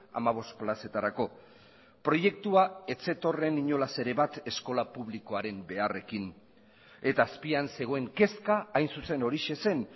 hamabost plazetarako proiektua ez zetorren inolaz ere bat eskola publikoaren beharrekin eta azpian zegoen kezka hain zuzen horixe zen